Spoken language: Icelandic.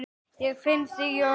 Ég finn þig í orðinu.